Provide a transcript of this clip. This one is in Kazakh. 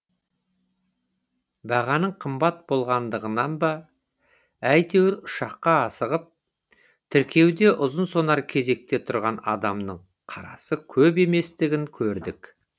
бағаның қымбат болғандығынан ба әйтеуір ұшаққа асығып тіркеуде ұзынсонар кезекте тұрған адамның қарасы көп еместігін көрдік